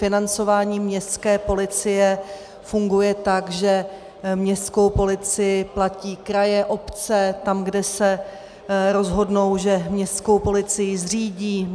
Financování městské policie funguje tak, že městskou policii platí kraje, obce, tam, kde se rozhodnou, že městskou policii zřídí.